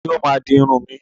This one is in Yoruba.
Ta ni ó máa di irun mi?